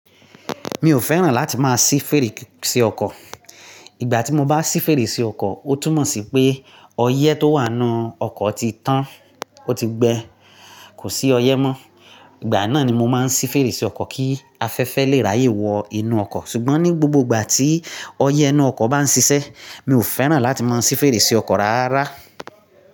Mi ò fẹ́ràn láti máa ṣí fèrèsé ọkọ̀. Ìgbà tí mo bá ṣí fèrèsé ọkọ̀, ó túmọ̀ sí pé ọyẹ́ tó wà nínú ọkọ̀ ti tán, ó ti gbẹ, kò sí ọyẹ́ mọ́. Ìgbà náà ni mo máa ń ṣí fèrèsé ọkọ̀ kí afẹ́fẹ́ lè ráyè wọ inú ọkọ̀. Ṣùgbọ́n ní gbogbo ìgbà tí ọyẹ́ inú ọkọ̀ bá ń ṣiṣẹ́, mi ò fẹ́ràn láti máa ṣí fèrèsé ọkọ̀ rárá.